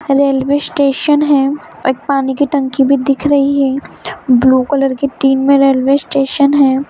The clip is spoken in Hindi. रेलवे स्टेशन है पानी की टंकी भी दिख रही है ब्लू कलर की टीम में रेलवे स्टेशन है।